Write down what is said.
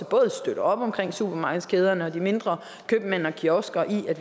både støtter op om supermarkedskæderne og de mindre købmænd og kiosker i at